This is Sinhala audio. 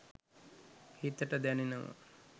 හිතට දැනෙනවා